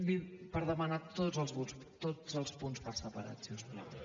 per demanar tots els punts per separat si us plau